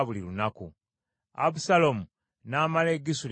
Abusaalomu n’amala e Gesuli emyaka esatu.